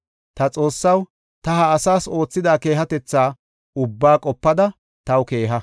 Ta Xoossaw, ta ha asaas oothida keehatetha ubbaa qopada taw keeha.